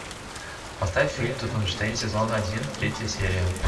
поставь фильм тутенштейн сезон один третья серия